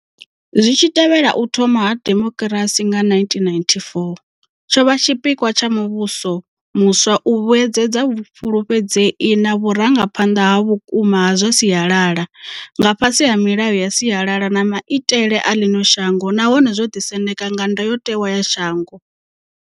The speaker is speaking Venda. Zwi tshi tevhela u thoma ha demokirasi nga 1994, tsho vha tshipikwa tsha muvhuso muswa u vhuedzedza vhufulufhedzei na vhurangaphanḓa ha vhukuma ha zwa sialala, nga fhasi ha milayo ya sialala na maitele a ḽino shango nahone zwo ḓisendeka nga ndayotewa ya shango.